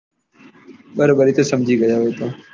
બરોબર એતો ગયો હું તો.